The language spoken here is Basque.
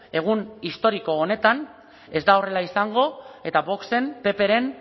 egun historiko honetan ez da horrela izango eta voxen ppren